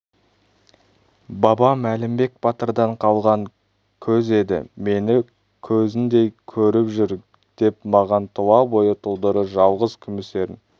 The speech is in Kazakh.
бабам әлімбек батырдан қалған көз еді мені көзіндей көріп жүр деп маған тұла бойы тұлдыры жалғыз күміс ерін